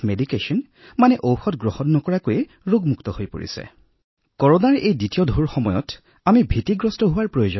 আমি দেখিছোযে ঔষধ গ্ৰহণ নকৰা ৯০৯৫ ৰো অধিক ৰোগীও আৰোগ্য হয় সেয়েহে বিগত সময়ৰ পৰা কৰোনাৰ ভয় যথেষ্ট হ্ৰাস পাইছে